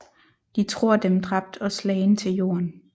De tror Dem dræbt og slagen til Jorden